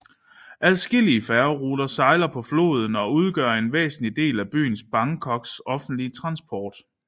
Adskillige færgeruter sejler på floden og udgør en væsentlig del af byens Bangkoks offentlige transport